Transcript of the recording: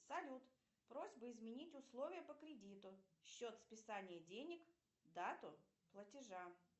салют просьба изменить условия по кредиту счет списания денег дату платежа